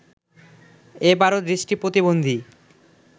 এবারো দৃষ্টি প্রতিবন্ধী